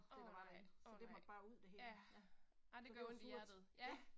Åh nej, åh nej, ja, ej det gør ondt i hjertet ja